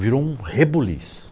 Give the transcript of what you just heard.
Virou um rebuliço.